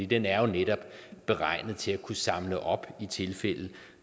den er netop beregnet til at kunne samle op i tilfælde